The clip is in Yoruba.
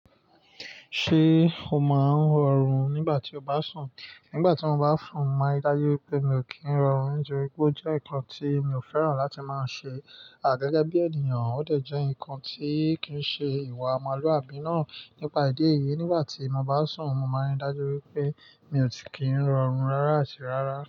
Ṣé o máa ń rọrùn nígbà tí o bá sùn? Nígbà tí mo bá sùn, mo máa rí dájú pé mi ò kí ń rọrùn nítori pe. Ó jẹ́ nǹkan tí mi ò fẹ́ràn láti máa ṣe. À gẹ́gẹ́ bí ènìyàn, ó dẹ̀ jẹ́ nǹkan tí kìí ṣe ìwà ọmọlúàbí náà. Nípa ìdí èyí, nígbà tí mo bá sùn, mo máa ríi dájú wipé mi ò tí kì í rọrùn rárá àti rárá.